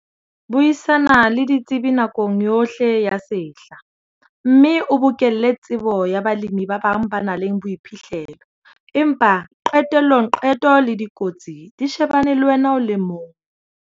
Buisana le ditsebi nakong yohle ya sehla, mme o bokelle tsebo ya balemi ba bang ba nang le boiphihlelo empa qetellong qeto le dikotsi di shebane le wena o le mong.